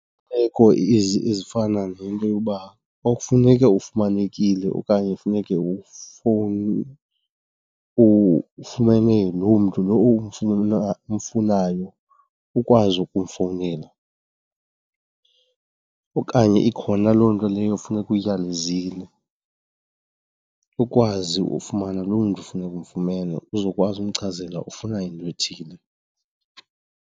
Iimeko ezifana nento yoba xa kufuneke ufumanekile okanye kufuneke ufumene loo mntu lo umfunayo ukwazi ukumfowunela, okanye ikhona loo nto leyo funeka uyiyalezile ukwazi ufumana loo mntu funeka umfumene uzokwazi umchazela ufuna into ethile.